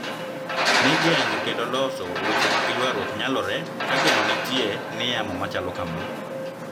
Ni geng`o kendo loso weche mag ywaruok nyalore ka geno nitie ni yamo machalo kama